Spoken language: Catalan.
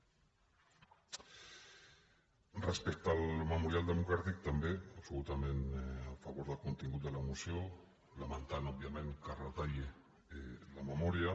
respecte al memorial democràtic també absolutament a favor del contingut de la moció lamentant òbviament que es retalli la memòria